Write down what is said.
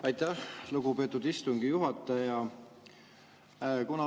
Aitäh, lugupeetud istungi juhataja!